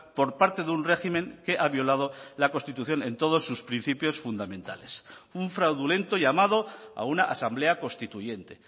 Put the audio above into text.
por parte de un régimen que ha violado la constitución en todos sus principios fundamentales un fraudulento llamado a una asamblea constituyente